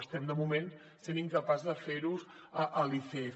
estem de moment sent incapaços de fer ho a l’icf